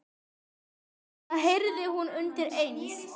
Það heyrði hún undir eins.